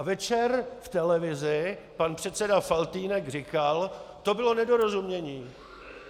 A večer v televizi pan předseda Faltýnek říkal: To bylo nedorozumění.